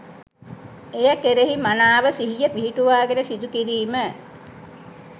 එය කෙරෙහි මනාව සිහිය පිහිටුවාගෙන සිදුකිරීම